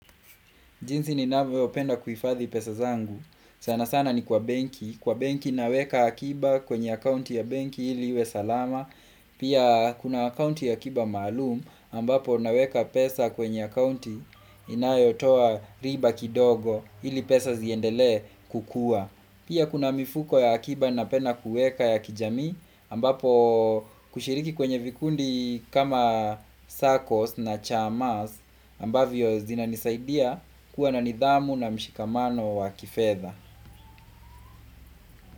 Jinsi ni navyo penda kuhifadhi pesa zangu. Sana sana ni kwa benki. Kwa benki naweka akiba kwenye akaunti ya benki ili iwe salama. Pia kuna akaunti ya akiba maalum ambapo naweka pesa kwenye akaunti inayotoa riba kidogo ili pesa ziendelee kukua. Pia kuna mifuko ya akiba na pena kueka ya kijamii ambapo kushiriki kwenye vikundi kama circles na chamas ambavyo zina nisaidia. Kuwa na nidhamu na mshikamano wa kifedha.